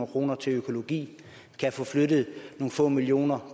kroner til økologi kan få flyttet nogle få millioner